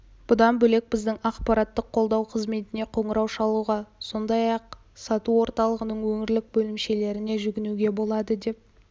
бұдан бөлек біздің ақпараттық қолдау қызметіне қоңырау шалуға сондай-ақ сату орталығының өңірлік бөлімшелеріне жүгінуге болады деп